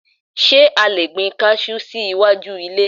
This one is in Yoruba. Ṣé a lè gbin kajú sí iwájú ilé?